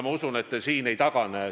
Ma usun, et te siin ei tagane.